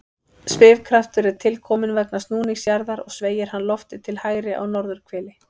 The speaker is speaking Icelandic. Svigkraftur er til kominn vegna snúnings jarðar og sveigir hann loftið til hægri á norðurhveli.